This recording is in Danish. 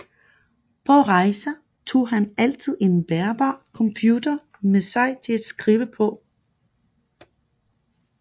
På rejser tog han altid en bærbar computer med sig til at skrive på